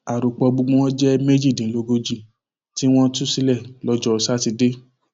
àròpọ gbogbo wọn jẹ méjìdínlógójì tí wọn tú sílẹ lọjọ sátidé